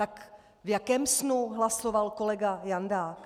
Tak v jakém snu hlasoval kolega Jandák?